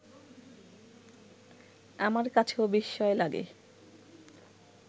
আমার কাছেও বিস্ময় লাগে